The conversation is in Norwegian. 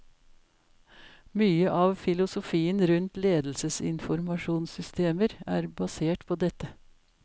Mye av filosofien rundt ledelsesinformasjonssystemer er basert på dette.